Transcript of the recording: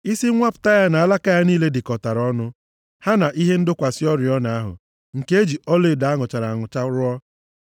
Isi nwapụta ya na alaka ya niile dịkọtara ọnụ, ha na ihe ịdọkwasị oriọna ahụ, nke e ji ọlaedo a nụchara anụcha rụọ.